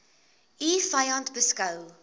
u vyand beskou